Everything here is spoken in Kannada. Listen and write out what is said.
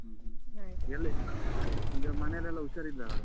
ಹ್ಮ ಹ್ಮ ಎಲ್ಲಿ? ಈಗ ಮನೆಯಲ್ಲೆಲ್ಲ ಹುಷಾರಿದ್ದಾರಲ್ಲ?